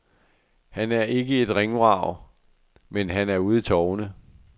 Han er ikke et ringvrag, men han er ude i tovene.